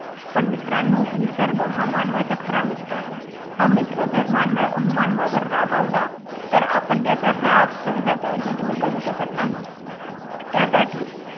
पण मित्रांनो निसर्ग हा मानवाचा खरा मित्र आहे हा मित्र जर मान अं मानवावर रागावला तर आपण त्याचा राग सहजासहजी दूर करू शकत नाही त्यासाठी